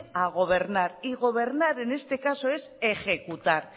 a gobernar y gobernar en este caso es ejecutar